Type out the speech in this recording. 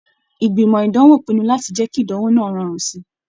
Ìgbìmọ̀ ìdánwò pinnu láti jẹ kí ìdánwò náà rọrùn síi.